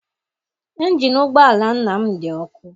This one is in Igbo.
Injini ụgbọala nna m dị ọkụ.